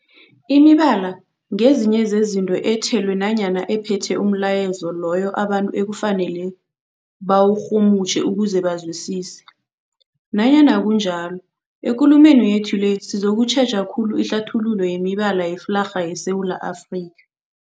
Imibala ngezinye zezinto ethelwe nanyana ephethe umlayezo loyo abantu ekufanele bawurhumutjhe ukuze bawuzwisise. Nanyana kunjalo, ekulumeni yethu le sizokutjheja khulu ihlathululo yemibala yeflarha yeSewula Afrika.